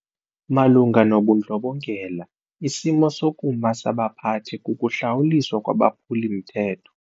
Malunga nobundlobongela isimo sokuma sabaphathi kukuhlawuliswa kwabaphuli-mthetho.